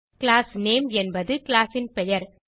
class name என்பது class ன் பெயர்